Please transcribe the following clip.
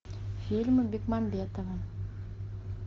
фильмы бекмамбетова